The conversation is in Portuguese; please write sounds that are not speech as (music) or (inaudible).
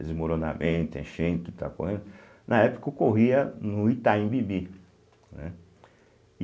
Desmoronamento, enchente e tal, (unintelligible) na época ocorria no Itaim Bibi, né?